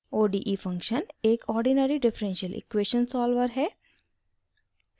ode function एक ordinary differential equation solver है